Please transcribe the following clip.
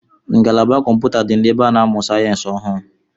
Ngalaba kọmpụta di n’ebe a na-amụ sayensi ọhụụ